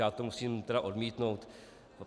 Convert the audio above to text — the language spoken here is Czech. Já to musím tedy odmítnout.